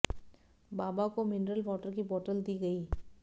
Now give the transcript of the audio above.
बाबा को mineral water की bottle दी गई